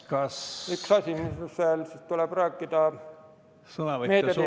Ja üks asi, millest veel tuleb rääkida – meediateenuste seadus, see, mis pidi ...